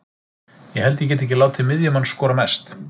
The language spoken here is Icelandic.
Ég held ég geti ekki látið miðjumann skora mest.